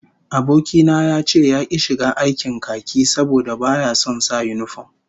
Aboki na ya ce yaki shiga aikin khaki saboda baya son sa yinifom